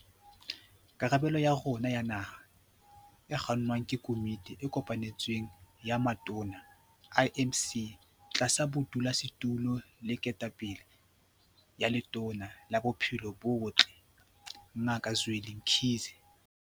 Karabelo ya rona ya naha e kgannwa ke Komiti e Kopanetsweng ya Matona, IMC, tlasa bodulasetulo le ketapele ya Letona la Bophelo bo Botle, Ngaka Zweli Mkhize.